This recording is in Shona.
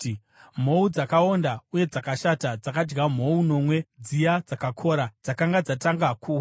Mhou dzakaonda uye dzakashata dzakadya mhou nomwe dziya dzakakora dzakanga dzatanga kuuya.